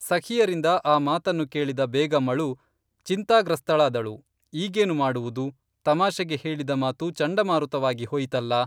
ಸಖಿಯರಿಂದ ಆ ಮಾತನ್ನು ಕೇಳಿದ ಬೇಗಂಅಳು ಚಿಂತಾಗ್ರಸ್ತಳಾದಳು, ಈಗೇನು ಮಾಡುವುದು, ತಮಾಷೆಗೆ ಹೇಳಿದ ಮಾತು ಚಂಡಮಾರುತವಾಗಿ ಹೋಯಿತಲ್ಲಾ